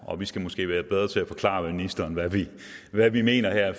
og vi skal måske være bedre til at forklare ministeren hvad vi hvad vi mener her